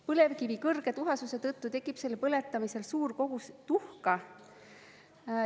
Põlevkivi kõrge tuhasuse tõttu tekib selle põletamisel suur kogus tuhka.